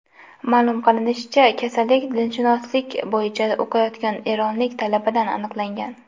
Ma’lum qilinishicha, kasallik dinshunoslik bo‘yicha o‘qiyotgan eronlik talabada aniqlangan .